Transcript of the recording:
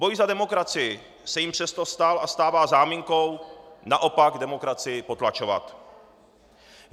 Boj za demokracii se jim přesto stal a stává záminkou naopak demokracii potlačovat.